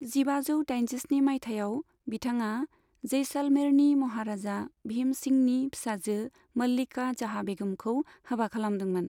जिबाजौ दाइनजिस्नि माइथायाव, बिथाङा जैसालमेरनि महाराजा भीम सिंहनि फिसाजो मल्लिका जहां बेगमखौ हाबा खालामदोंमोन।